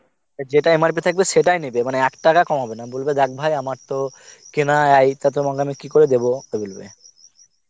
যেটা MRP থাকবে সেটাই নেবে মানে এক টাকা কমাবে না বলবে দেখ ভাই আমার তো কেনা এইতে তোমাকে আমি কি করে দেবো, তো বলবে